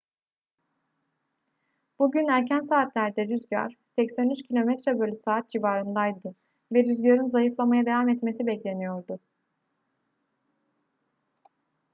bugün erken saatlerde rüzgar 83 km/s civarındaydı ve rüzgarın zayıflamaya devam etmesi bekleniyordu